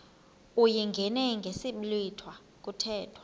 uyingene ngesiblwitha kuthethwa